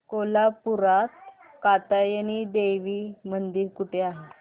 कोल्हापूरात कात्यायनी देवी मंदिर कुठे आहे